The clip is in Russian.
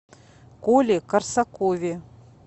коле корсакове